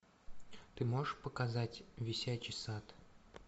ты можешь показать висячий сад